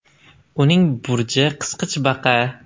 Uning burji qisqichbaqa.